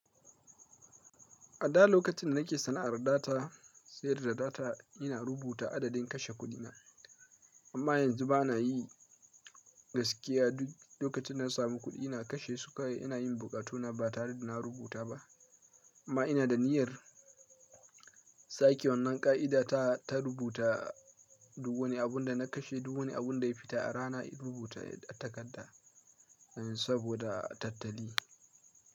A da lokacin da nake sana’ar data, sayar da data ina rubuta adadin kashe kuɗina. Amma yanzu ba na yi gaskiya duk lokacin da na samu kuɗi ina kashe su kawai ina yin bukatuna ba tare da na rubuta ba. Amma ina da niyyar sake wannan ƙa’ida ta, ta rubuta duk wani abunda na kashe duk wani abunda ya fita a rana in rubuta a takarda, saboda tattali.